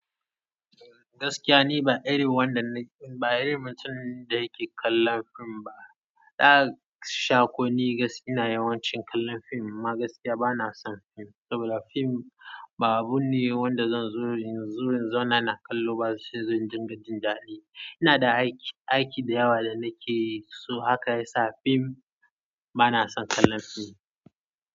Gaskiya ni ba iri wanda na, ba irin mutum da yake kallon fim ba. Ɗa sha ko ni gaskiya ina yawancin kallon fim amma gaskiya bana son fim saboda fim babu ne wanda zan zo, zo na kallo ba sai zan dinga jin daɗi. Ina da aiki, aiki da yawa da nake so haka yasa fim bana son kallon fim.